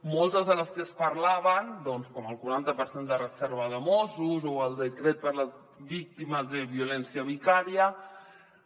moltes de les que es parlaven doncs com el quaranta per cent de reserva de mossos o el decret per a les víctimes de violència vicària